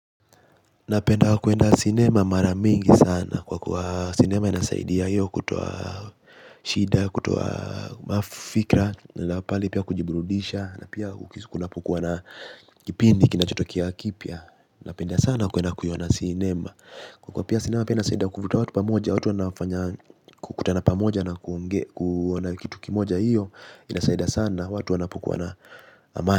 Napenda kwenda cinema mara mingi sana kwa kuwa cinema inasaidia hiyo kutoa shida ya kutoa mafikra. Napahali pia kujiburudisha na pia kukisukunapukuwa na kipindi kinachotokea kipya. Napenda sana kwenda kuiona sinema. Kwa kuwa sinema pia inasaida kuvuta watu pamoja watu wanafanya kukutana pamoja na ku na kitu kimoja hiyo inasaida sana watu wanapokuwa na amani.